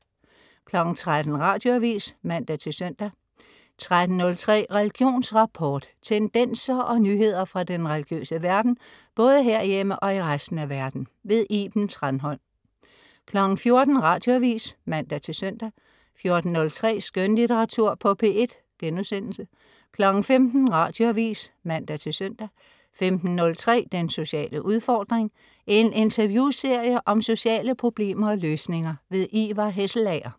13.00 Radioavis (man-søn) 13.03 Religionsrapport. Tendenser og nyheder fra den religiøse verden, både herhjemme og i resten af verden. Iben Thranholm 14.00 Radioavis (man-søn) 14.03 Skønlitteratur på P1* 15.00 Radioavis (man-søn) 15.03 Den sociale udfordring. En interviewserie om sociale problemer og løsninger. Ivar Hesselager